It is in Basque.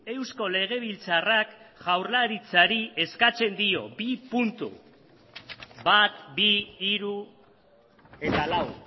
eusko legebiltzarrak jaurlaritzari eskatzen dio bi puntu bat bi hiru eta lau